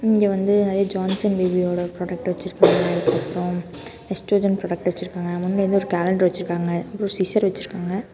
இங்க வந்து நெறைய ஜான்சன் பேபிஓட ப்ரோடக்ட் வச்சிருக்காங்க அதுக்கு அப்றம் நெஸ்டோஜன் ப்ரோடக்ட் வச்சிருக்காங்க முன்ன ஏதோ ஒரு காலண்டர் வச்சிருக்காங்க ஏதோ சிசர் வச்சிருக்காங்க.